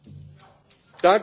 Herr Präsident!